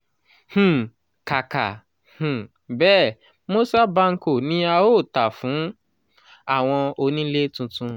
um kàkà um bẹ́ẹ̀ moza banco ni a ó tà fún àwọn onílé tuntun. um